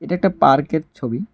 একটা পার্কের ছবি।